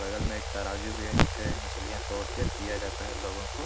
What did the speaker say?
बगल में एक तराजू भी है जिससे मछलियाँ तोल के दिया जाता है लोगो को।